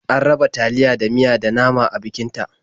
An raba taliya da miya da nama a bikin ta.